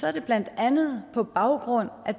er det blandt andet på baggrund af